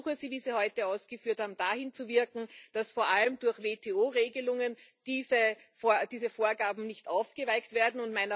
Ich ersuche Sie wie Sie heute ausgeführt haben dahin zu wirken, dass vor allem durch WTO Regelungen diese Vorgaben nicht aufgeweicht werden.